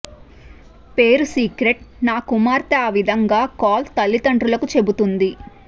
పేరు సీక్రెట్ నా కుమార్తె ఆ విధంగా కాల్ తల్లితండ్రులకు చెపుతుంది